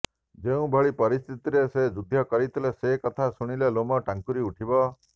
ଯେଉଁଭଳି ପରିସ୍ଥିତିରେ ସେ ଯୁଦ୍ଧ କରିଥିଲେ ସେ କଥା ଶୁଣିଲେ ଲୋମ ଟାଙ୍କୁରି ଉଠିବ